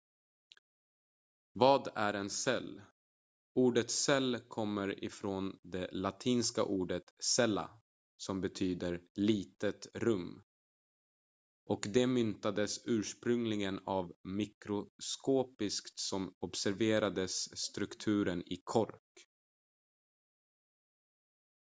"vad är en cell? ordet cell kommer från det latinska ordet "cella" som betyder "litet rum" och det myntades ursprungligen av en mikroskopist som observerade strukturen i kork.